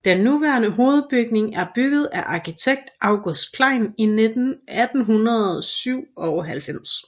Den nuværende hovedbygning er bygget af arkitekt August Klein i 1897